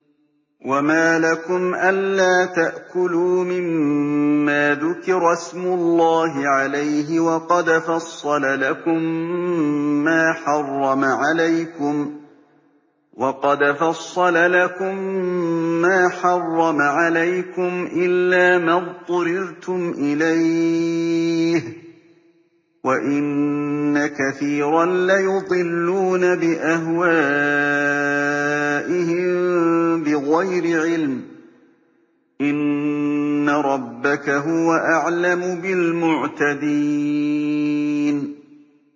وَمَا لَكُمْ أَلَّا تَأْكُلُوا مِمَّا ذُكِرَ اسْمُ اللَّهِ عَلَيْهِ وَقَدْ فَصَّلَ لَكُم مَّا حَرَّمَ عَلَيْكُمْ إِلَّا مَا اضْطُرِرْتُمْ إِلَيْهِ ۗ وَإِنَّ كَثِيرًا لَّيُضِلُّونَ بِأَهْوَائِهِم بِغَيْرِ عِلْمٍ ۗ إِنَّ رَبَّكَ هُوَ أَعْلَمُ بِالْمُعْتَدِينَ